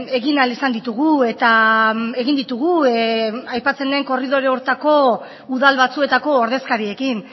egin ahal izan ditugu eta egin ditugu aipatzen den korridore horretako udal batzuetako ordezkariekin